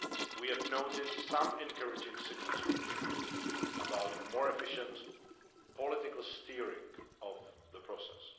We have noted some encouraging signals from Kiev about a more efficient political steering of the process.